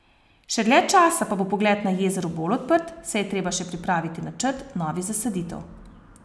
Še dlje časa pa bo pogled na jezero bolj odprt, saj je treba še pripraviti načrt novih zasaditev.